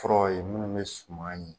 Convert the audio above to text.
Kɔrɔ ye minnu bɛ suman ye